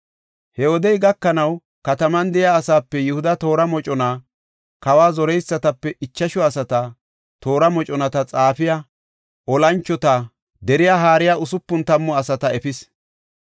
He wodey gakanaw, kataman de7iya asape Yihuda toora mocona, kawa zoreysatape ichashu asata, toora moconata xaafiya, olanchota dooriya hara usupun tammu asata efis.